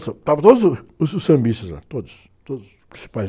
Estavam todos os, os, os sambistas lá, todos, todos os principais.